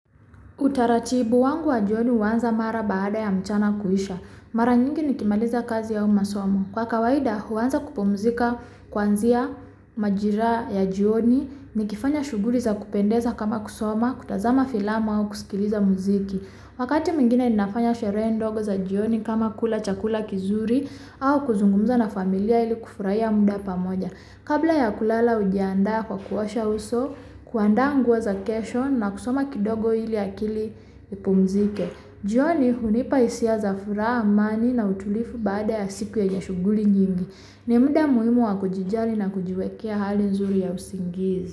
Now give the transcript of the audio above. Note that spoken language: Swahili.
Utaratibu wangu wa jioni huanza mara baada ya mchana kuisha, mara nyingi nikimaliza kazi au masomo. Kwa kawaida huanza kupumzika kuanzia majira ya jioni, nikifanya shughuli za kupendeza kama kusoma, kutazama filamu au kusikiliza mziki. Wakati mwingine ninafanya sherehe ndogo za jioni kama kula chakula kizuri, au kuzungumza na familia ili kufurahia muda pamoja. Kabla ya kulala ujiandaa kwa kuosha uso, kuandaa nguo za kesho na kusoma kidogo ili akili ipumzike. Jioni hunipa hisia za furaha amani na utulivu baada ya siku yenye shughuli nyingi. Ni muda muhimu wa kujijali na kujiwekea hali nzuri ya usingizi.